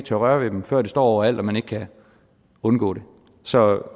tør røre ved dem før det står overalt så man ikke kan undgå det så